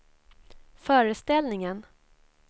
föreställningen